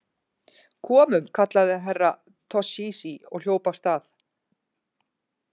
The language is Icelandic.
Komum, kallaði Herra Toshizi og hljóp af stað.